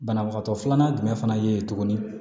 Banabagatɔ filanan jumɛn fana ye tuguni